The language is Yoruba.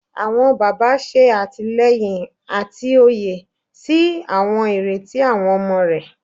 Awọn baba, ṣe atilẹyin ati oye si awọn ireti awọn ọmọ rẹ